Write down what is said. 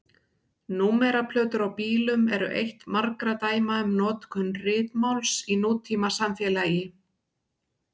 Númeraplötur á bílum eru eitt margra dæma um notkun ritmáls í nútímasamfélagi.